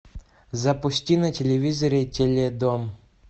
запусти на телевизоре теледом